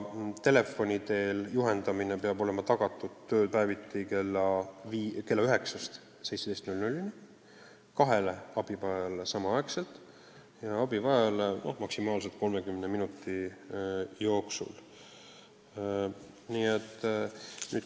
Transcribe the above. Telefoni teel juhendamine peab olema tagatud tööpäeviti kella 9–17 kahele abivajajale samaaegselt ja ühele abivajajale maksimaalselt 30 minuti jooksul.